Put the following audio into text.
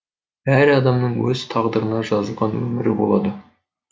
әр адамның өз тағдырына жазылған өмірі болады